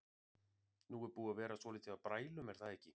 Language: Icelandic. Nú er búið að vera svolítið af brælum er það ekki?